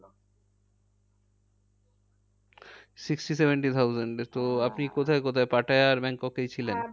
Sixty, seventy thousand এ তো Pattaya আর ব্যাংককে ব্যাংকক আর পাটায়া।